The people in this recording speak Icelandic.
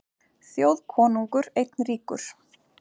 Þjóðkonungur einn ríkur.